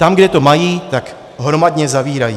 Tam, kde to mají, tak hromadně zavírají.